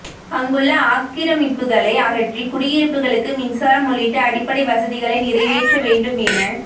அங்குள்ள ஆக்கிரமிப்புகளை அகற்றி குடியிருப்புகளுக்கு மின்சாரம் உள்ளிட்ட அடிப்படை வசதிகளை நிறைவேற்ற வேண்டும் என